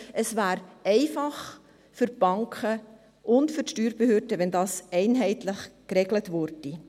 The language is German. Es wäre für die Banken und für die Steuerbehörden einfacher, wenn das Ganze einheitlich geregelt würde.